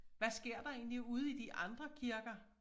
Hvad sker der egentlig ude i de andre kirker